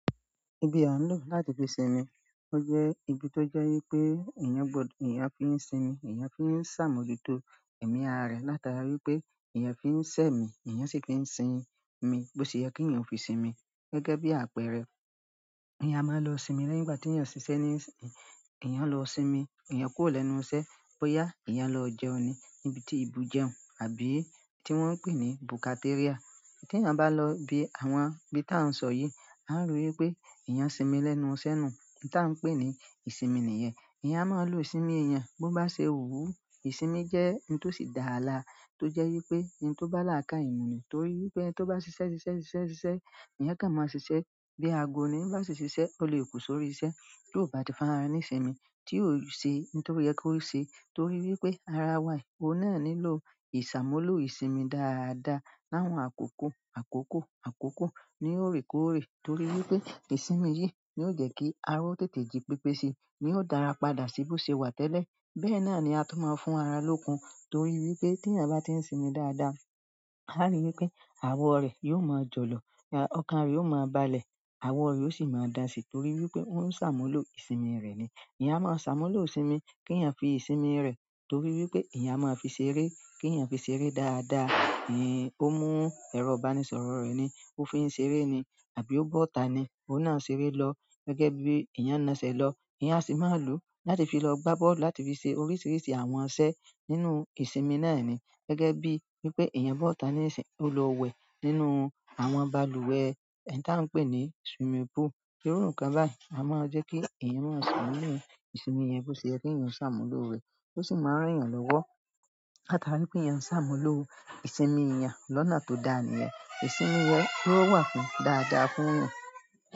Ibi à ń lò láti fi sinmi, ó jẹ́ ibi tó jẹ́ wípé eeyàn fi ń sinmi, eeyàn fi ń ṣàmójútó ẹ̀mí ara rẹ̀ látara wípé eeyàn fi ń ṣẹ́ mi, eeyàn sì fi ń sin mi bó ṣe yẹ kí èèyàn ò fi sinmi gẹ́gẹ́ bí àpẹẹrẹ. Eeyàn a máa lọ sinmi lẹ́yìn ìgbà tí èèyàn ṣiṣẹ́ ní- èèyàn lọ sinmi, èèyàn kúrò lẹ́nu iṣẹ́, bóyá èèyàn lọ jẹun níbi tí ibù jẹun àbí tí wọ́n ń pè ní búkátíríà. Tí èèyàn bá lọ ibi àwọn ibi tí a ń sọ yìí, a ń rí wípé èèyàn sinmi lẹ́nu iṣẹ́ nù, ohun tí a ń pè ní ìsinmi nìyẹn. Eeyàn á máa lò ìsinmi èèyàn bó bá ṣe wú. Ìsinmi jẹ́ ohun tó sì dára lára tó jẹ́ wípé oun tó bá làákàye mù nì torí wípé tó bá ṣiṣẹ́, ṣiṣẹ́, ṣiṣẹ́, ṣiṣẹ́, èèyàn kàn máa ṣiṣẹ́ bí agó ni, ẹni ba si ṣiṣẹ́, ó lè kú sórí iṣẹ́ tió bá ti fún ara re ní ìsinmi tí ò ṣe ohun tó yẹ kó ṣe torí wípé ara wa yi òun ná nílò ìṣàmúlò ìsinmi dáadáa. Láwọn àkókò àkókò àkókò ní òrèkóòrè torí wípé ìsinmi yìí ni ó jẹ́ kí ara ó tètè ji pépé si ni ó dá ara padà sí bó ṣe wà tẹ́lẹ̀. Bẹ́ẹ̀ náà ni a tún máa ń fún ara lókun torí wípé tí èèyàn bá ti ń sinmi dáadáa, a rí wípé àwọ̀ rẹ̀ yóò máa jọlọ, ọkàn rẹ̀ yoó máa balẹ̀, àwọ̀ rẹ̀ ó sì máa dán sì torí wípé ó ń ṣàmúlò ìsinmi rẹ̀ ni. Eeyàn á máa ṣàmúlò ìsinmi kí èèyàn fi ìsinmi rẹ̀ torí wípé eeyàn a máa fi ṣeré, kí èèyàn fi ṣeré dáadáa. Ó mú ẹrọ ìbánisọ̀rọ̀ rẹ̀ ni, ó fi ń ṣeré ni àbí ó bọ́ta ni, óun náá ṣeré lọ gẹ́gẹ́ bí èèyàn na ṣe lọ. Eeyàn sì máa lò láti fi lọ gbá bọ́ọ̀lù láti fi ṣe oríṣiríṣi àwọn iṣẹ́ nínú ìsinmi náà ni gẹ́gẹ́ bí wípé èèyàn bọ́ta nísin, ó lọ wẹ̀ nínú àwọn balùwẹ̀ oun tí à ń pè ní swimming pool. Irú nǹkan báyìí a máa jẹ́ kí èèyàn máa sún nínú ìsinmi yen bó ṣe yẹ kí èèyàn ṣàmúlò rẹ̀. Ó sì máa rán èèyàn lọ́wọ́ látara wípé èèyàn ń ṣàmúlò ìsinmi eeyàn lọ́nà tó dára nìyẹn. Ìsinmi yẹn ó wà fún dáadáa fún eeyàn.